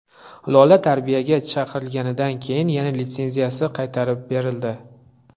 Lola tarbiyaga chaqirilgandan keyin yana litsenziyasi qaytarib berildi.